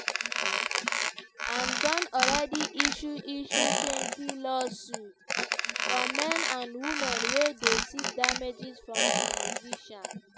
im don already issue issuetwentylawsuits from men and women wey dey seek damages from di musician.